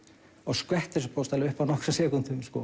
og skvettir þessu upp á nokkrum sekúndum